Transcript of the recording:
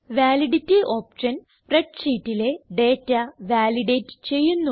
validity option spread ഷീറ്റിലെ data validate ചെയ്യുന്നു